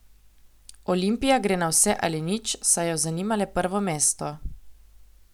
Olimpija gre na vse ali nič, saj jo zanima le prvo mesto.